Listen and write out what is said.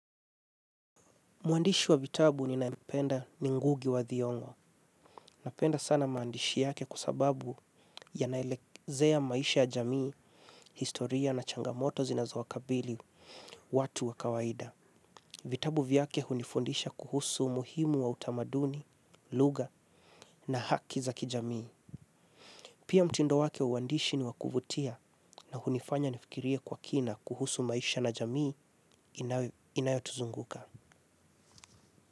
Mwandishi wa vitabu ninayempenda ni ngugi wa thiongo. Napenda sana maandishi yake kwa sababu yanaelezea maisha ya jamii, historia na changamoto zinazowakabili watu wa kawaida. Vitabu vyake hunifundisha kuhusu muhimu wa utamaduni, lugha na haki za kijamii. Pia mtindo wake wa uandishi ni wakuvutia na hunifanya nifikirie kwa kina kuhusu maisha na jamii inayo tuzunguka.